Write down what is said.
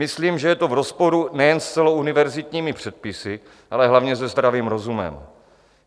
Myslím, že je to v rozporu nejen s celouniverzitními předpisy, ale hlavně se zdravým rozumem.